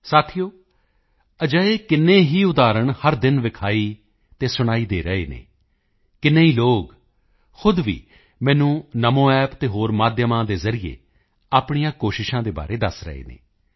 ਸਾਥੀਓ ਅਜਿਹੇ ਕਿੰਨੇ ਹੀ ਉਦਾਹਰਣ ਹਰ ਦਿਨ ਦਿਖਾਈ ਅਤੇ ਸੁਣਾਈ ਦੇ ਰਹੇ ਹਨ ਕਿੰਨ੍ਹੇ ਹੀ ਲੋਕ ਖ਼ੁਦ ਵੀ ਮੈਨੂੰ NamoApp ਅਤੇ ਹੋਰ ਮਾਧਿਅਮਾਂ ਦੇ ਜ਼ਰੀਏ ਆਪਣੇ ਪ੍ਰਯਤਨਾਂ ਦੇ ਬਾਰੇ ਦੱਸ ਰਹੇ ਹਨ